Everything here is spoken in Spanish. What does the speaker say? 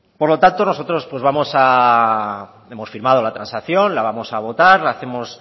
por lo tanto nosotros hemos firmado la transacción la vamos a votar lo hacemos